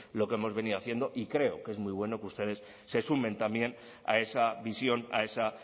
lo que hemos venido haciendo y creo que es muy bueno que ustedes se sumen también a esa visión a esa